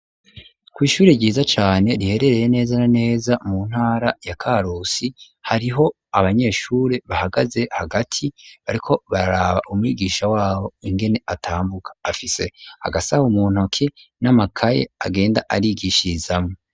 kw'ishuri ryiza cane riherereye neza na neza mu ntara ya Karosi hariho abanyeshuri bahagaze hagati bariko bararaba umwigisha wabo ingene atambuka afise agasaha mu ntoki n'amakaye agenda arigishizamwo.